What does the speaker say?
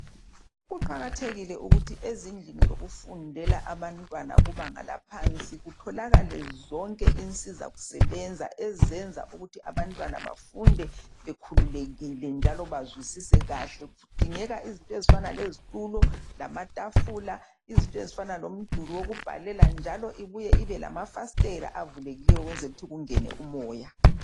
Kuqakathekile ukuthi ezindlini zokufundela zabantwana bebanga eliphansi kutholakale zonke insiza sebenza ezisebenza ukuthi abantwana bafunde bekhululekile ukuze befunde kahle kudingakala izinto ezinjenge zitulo lamatafula izinto ezifanana lomduli wokubhalela njalo ibuye ibela mafastela avulekileyo ukwenzela ukuthi kungene umoya